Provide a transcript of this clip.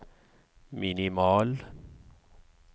minimal